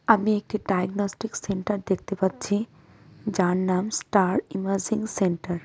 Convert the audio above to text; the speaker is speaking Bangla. আমি একটি ডায়গনস্টিক সেন্টার দেখতে পাচ্ছি যার নাম স্টার ইমাজিং সেন্টার ।